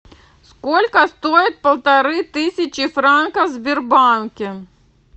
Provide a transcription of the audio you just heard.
сколько стоит полторы тысячи франков в сбербанке